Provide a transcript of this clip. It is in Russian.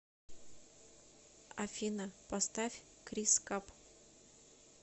афина поставь крис каб